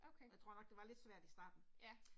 Okay. Ja